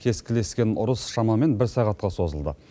кескілескен ұрыс шамамен бір сағатқа созылды